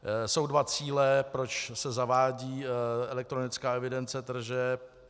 Jsou dva cíle, proč se zavádí elektronická evidence tržeb.